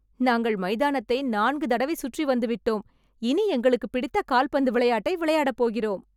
நாங்கள் மைதானத்தை நான்கு தடவை சுற்றி வந்து விட்டோம் இனி எங்களுக்கு பிடித்த கால்பந்து விளையாட்டை விளையாட போகிறோம்